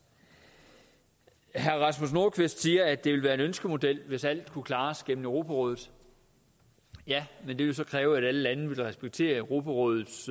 herre rasmus nordqvist siger at det vil være en ønskemodel hvis alt kunne klares gennem europarådet ja men det ville så kræve at alle lande ville respektere europarådets